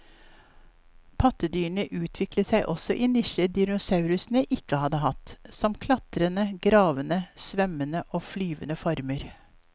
Pattedyrene utviklet seg også i nisjer dinosaurene ikke hadde hatt, som klatrende, gravende, svømmende og flyvende former.